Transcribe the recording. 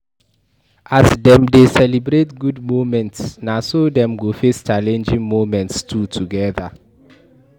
As them de celebrate good moments na so dem go face challenging moments too together